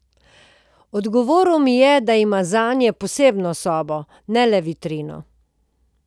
Odgovoril mi je, da ima zanje posebno sobo, ne le vitrino.